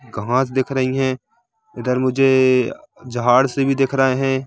घास दिख रही है इधर मुझे झाड़ से भी दिख रहे है।